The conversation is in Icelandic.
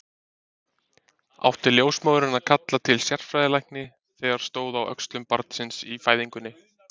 Átti ljósmóðirin að kalla til sérfræðilækni þegar stóð á öxlum barnsins í fæðingunni?